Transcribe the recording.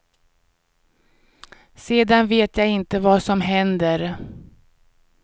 Sedan vet jag inte vad som händer.